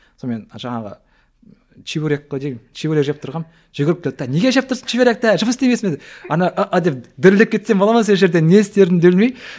сонымен жаңағы чебурек чебурек жеп тұрғанмын жүгіріп келді де неге жеп тұрсың чебуректі жұмыс істемейсің бе деп ана деп дірілдеп кетсем бола ма сол жерде не істерімді білмей